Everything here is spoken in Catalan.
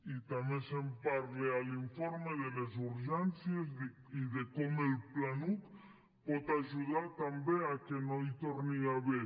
i també se’n parla a l’informe de les urgències i de com el planuc pot ajudar també a que no hi torni a haver